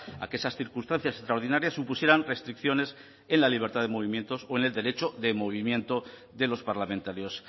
a que esas circunstancias extraordinarias supusieran restricciones en la libertad de movimientos o en el derecho de movimiento de los parlamentarios